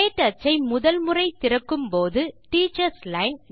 க்டச் ஐ முதல் முறை திறக்கும்போது டீச்சர்ஸ் லைன்